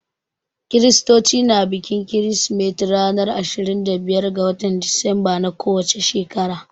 Kiristoci na bikin kirsimeti ranar ashirin da biyar ga watan Disemba na ko wace shekara.